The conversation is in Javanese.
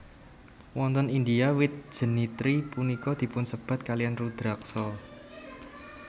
Wonten India wit jenitri punika dipunsebat kalian Rudraksa